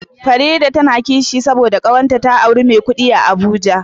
Farida na kishi saboda kawarta ta auri me kudi a abuja